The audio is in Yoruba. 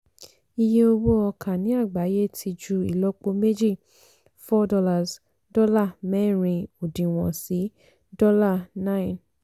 iye owó ọkà ní àgbáyé ti ju ìlọ́po méjì four dọ́là mẹ́rin òdiwọ̀n sí dọ́là nine.